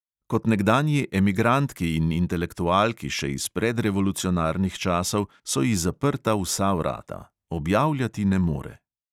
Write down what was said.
Kot nekdanji emigrantki in intelektualki še iz predrevolucionarnih časov so ji zaprta vsa vrata, objavljati ne more.